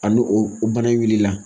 Ani o bana in wili la.